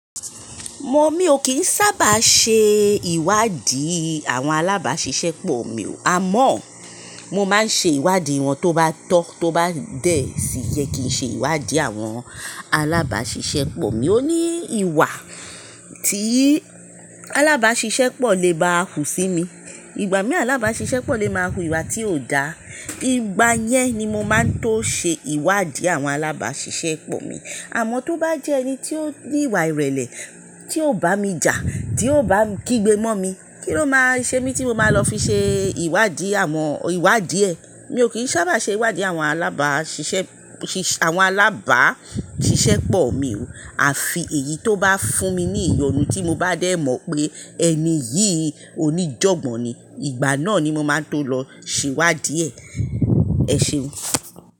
Mo, mi ò kí ń sábà ṣe ìwádìí àwọn alábàáṣiṣẹ́ pọ̀ mi o. Àmọ́ mo máa n ṣe ìwádìí wọn tó bá tọ́, tó bá dẹ̀, yẹ kì í ṣe ìwádìí àwọn alábàáṣiṣẹ́ pọ̀ mi. O ní ìwà tí alábàáṣiṣẹ́ pọ̀ lè bá hù sí mi. Ìgbà mí alábàáṣiṣẹ́ pọ̀ lè má wu ìwà tí ò dá. Ìgbà yẹn ni mo máa tó ṣe ìwádìí àwọn alábàáṣiṣẹ́ pọ̀ mi. Àmọ́ tó bá jẹ́ ẹni tí ó ní ìwà ìrẹ̀lẹ̀, tí ò bá mi jà, tí ò bá kígbe mọ́ mi, kíni ó máa ṣe mi tí mo máa lọ fi ṣe ìwádìí àwọn ìwádìí ẹ̀? Mi ò kí ń sábà ṣe ìwádìí àwọn alábàáṣiṣẹ́, àwọn alábàáṣiṣẹ́ pọ̀ mi o. Àfi èyí tó bá fún mi ní ìyọnu tí mo bá dẹ̀ mọ̀ pé ẹni yìí oníjọ̀gbọ́n ni. Ìgbà náà ni mo máa tó lọ ṣe ìwádìí ẹ̀. Ẹ ṣeun.